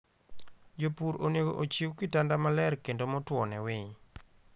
Jopur onego ochiw kitanda maler kendo motwo ne winy.